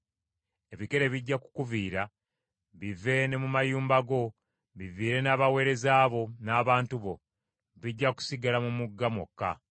Ebikere bijja kukuviira, bive ne mu mayumba go, biviire n’abaweereza bo n’abantu bo; bijja kusigala mu mugga mwokka.”